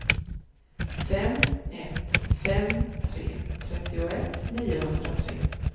fem ett fem tre trettioett niohundratre